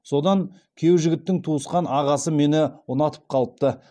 содан күйеу жігіттің туысқан ағасы мені ұнатып қалыпты